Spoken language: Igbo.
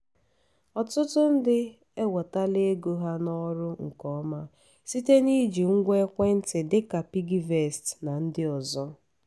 ọtụtụ ndị ewetala ego ha n’ọrụ nke ọma site n’iji ngwa ekwentị dị ka piggyvest na ndị ọzọ.